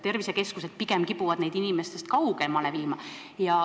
Tervisekeskused kipuvad neid inimestest pigem kaugemale viima.